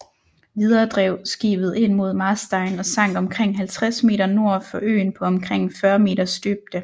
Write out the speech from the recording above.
Videre drev skibet ind mod Marstein og sank omkring 50 meter nord for øen på omkring 40 meters dybde